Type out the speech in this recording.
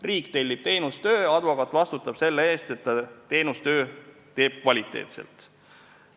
Riik tellib teenustöö, advokaat vastutab selle eest, et ta teeb teenustöö kvaliteetselt.